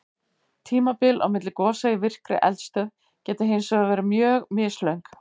Tímabil á milli gosa í virkri eldstöð geta hins vegar verið mjög mislöng.